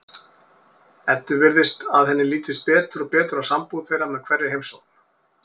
Eddu virðist að henni lítist betur og betur á sambúð þeirra með hverri heimsókn.